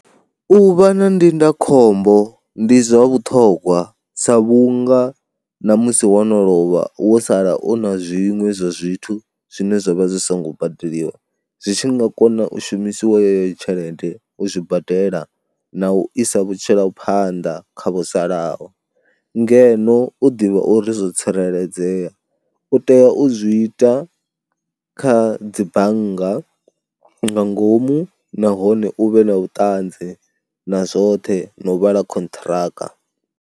U vha na ndindakhombo ndi zwa vhuṱhongwa sa vhunga na musi wo no lovha wo sala u na zwiṅwe zwa zwithu zwine zwa vha zwi songo badeliwa, zwi tshi nga kona u shumisiwa yeyo tshelede u zwi badela na u isa vhutshilo phanḓa kha vho salaho. Ngeno u ḓivha uri zwo tsireledzea, u tea u zwi ita kha dzi bannga nga ngomu nahone u vhe na vhuṱanzi na zwoṱhe na u vhala khonṱhiraka.